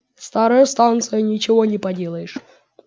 старая станция ничего не поделаешь